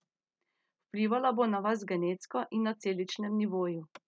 Vplivala bo na vas genetsko in na celičnem nivoju.